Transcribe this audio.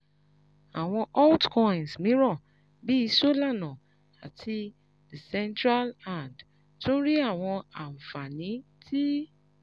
Awọn altcoins miiran bii Solana ati Decentraland tun ri awọn anfani ti